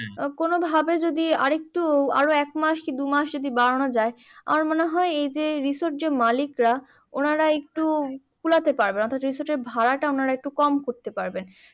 কোনোভাবে যদি আর একটু আরো একমাস কি দুমাস যদি বাড়ানো যায় আমার মনে হয় এই যে রিসোর্ট মালিকরা ওনারা একটু পুলাতে পারবে অর্থাৎ ভাড়াটা একটু কম করতে পারবেন